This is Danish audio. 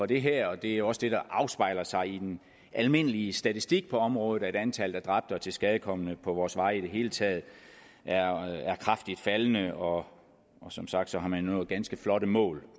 det her det er også det der afspejler sig i den almindelige statistik på området nemlig at antallet af dræbte og tilskadekomne på vores veje i det hele taget er kraftigt faldende og som sagt har man nået ganske flotte mål